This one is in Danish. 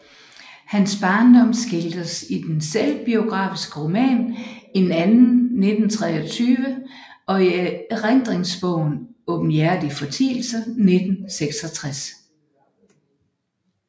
Hans barndom skildres i den selvbiografiske roman En Anden 1923 og i erindringsbogen Aabenhjertige Fortielser 1966